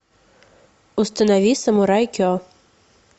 установи самурай ке